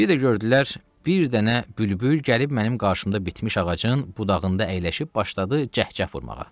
Biri də gördülər, bir dənə bülbül gəlib mənim qarşımda bitmiş ağacın budağında əyləşib başladı cəhcəh vurmağa.